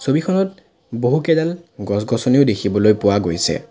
ছবিখনত বহু কেইডাল গছ-গছনিও দেখিবলৈ পোৱা গৈছে।